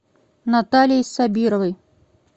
натальей сабировой